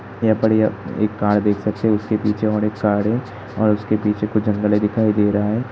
यहाँ पर य एक कार देख सकते हैं। उसके पीछे और एक कार है और उसके पीछे कुछ जंगल है दिखाई दे रहा है।